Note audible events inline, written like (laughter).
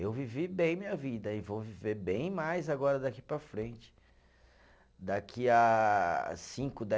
Eu vivi bem minha vida e vou viver bem mais agora daqui para frente, daqui a cinco (unintelligible)